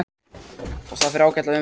Og það fer ágætlega um mig.